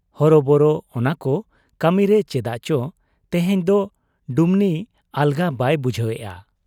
ᱦᱚᱨᱚᱵᱚᱨᱚ ᱚᱱᱟᱠᱚ ᱠᱟᱹᱢᱤᱨᱮ ᱪᱮᱫᱟᱜ ᱪᱚ ᱛᱮᱦᱮᱧ ᱫᱚ ᱰᱩᱢᱱᱤ ᱟᱞᱜᱟ ᱵᱟᱭ ᱵᱩᱡᱷᱟᱹᱣᱮᱜ ᱟ ᱾